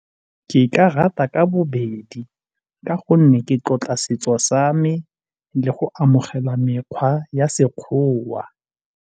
Ke ka rata ka bobedi ka gonne ke tlotla setso sa me le go amogela mekgwa ya Sekgowa.